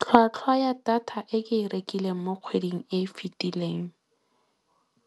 Tlhwatlhwa ya data e ke e rekileng mo kgweding e e fitileng